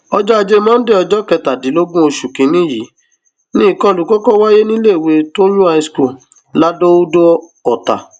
ọjọ ajé monday ọjọ kẹtàdínlógún oṣù kìnínní yìí ni ìkọlù kọkọ wáyé níléèwé tóyún high school ladọodò ọtá